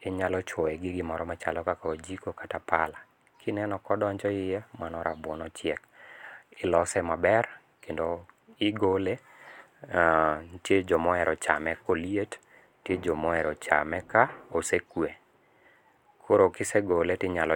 inyalo chwoye gi gimoro machalo kaka ojiko kata pala. Kineno ka odonjo iye, mano rabuon ochiek. Ilose maber kendo igole .Nitie joma ohero chame ka oliet, nitie joma ohero chame ka osekwe. Koro kisegole to inyalo.